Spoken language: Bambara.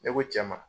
Ne ko cɛ ma